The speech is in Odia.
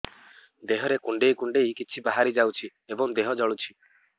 ଦେହରେ କୁଣ୍ଡେଇ କୁଣ୍ଡେଇ କିଛି ବାହାରି ଯାଉଛି ଏବଂ ଦେହ ଜଳୁଛି